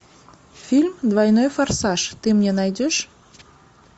фильм двойной форсаж ты мне найдешь